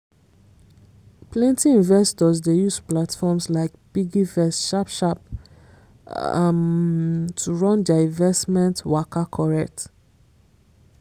plenty investors dey use platforms like piggyvest sharp sharp um to run their investment waka correct.